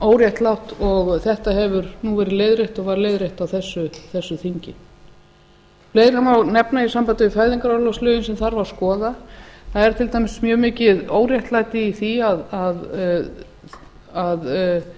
óréttlátt og þetta hefur nú verið leiðrétt og var leiðrétt á þessu þingi fleira má nefna í sambandi við fæðingarorlofslögin sem þarf að skoða það er til dæmis mjög mikið óréttlæti í því að